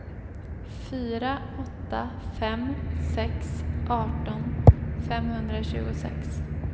fyra åtta fem sex arton femhundratjugosex